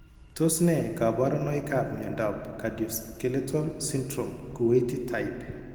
Tos ne kaborunoikap miondop Cardioskeletal syndrome Kuwaiti type?